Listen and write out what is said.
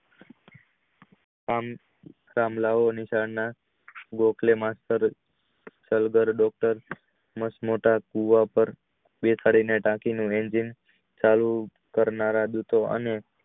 એમાં થાંભલા દેખાડી ને કરનારા વો